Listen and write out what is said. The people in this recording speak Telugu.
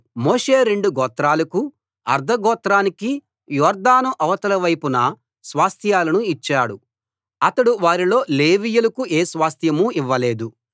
మోషే రెండు గోత్రాలకూ అర్థగోత్రానికీ యొర్దాను అవతలి వైపున స్వాస్థ్యాలను ఇచ్చాడు అతడు వారిలో లేవీయులకు ఏ స్వాస్థ్యమూ ఇవ్వలేదు